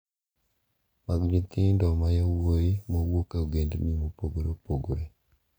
Mag nyithindo ma yowuoyi mawuok e ogendni mopogore opogore.